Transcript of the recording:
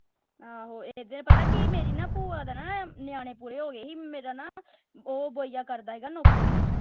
ਆਹੋ ਏਦੇ ਪਤਾ ਕਿ ਮੇਰੀ ਨਾ ਬੁਆ ਦਾ ਨਾ ਨਿਆਣੇ ਪੂਰੇ ਹੋਗੇ ਸੀ ਮੇਰਾ ਨਾ ਉਹ brother ਕਰਦਾ ਸੀਗਾ ਨੌਕਰੀ।